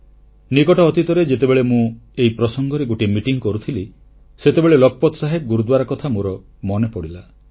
ନିକଟ ଅତୀତରେ ଯେତେବେଳେ ମୁଁ ଏହି ପ୍ରସଙ୍ଗରେ ଗୋଟିଏ ବୈଠକ କରୁଥିଲି ସେତେବେଳେ ଲଖପତ୍ ସାହେବ ଗୁରୁଦ୍ୱାରା କଥା ମୋର ମନେପଡ଼ିଲା